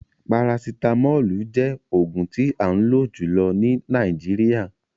Parasitamolu jẹ oogun ti an lo julọ ni Nàìjíríà